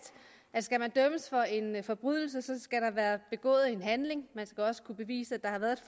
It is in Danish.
at skal man dømmes for en forbrydelse skal der være begået en handling man skal også kunne bevise at der har været